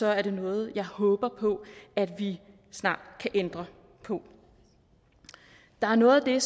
er det noget jeg håber på at vi snart kan ændre på der er noget af